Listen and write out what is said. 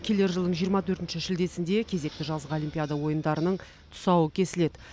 келер жылдың жиырма төртінші шілдесінде кезекті жазғы олимпиада ойындарының тұсауы кесіледі